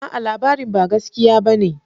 A'a! labarin ba gaskiya bane.